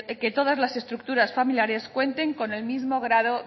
que todas las estructuras familiares cuenten con el mismo grado